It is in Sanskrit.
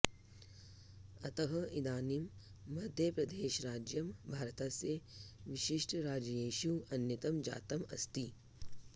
अतः इदानीं मध्यप्रदेशराज्यं भारतस्य विशिष्टराज्येषु अन्यतमं जातम् अस्ति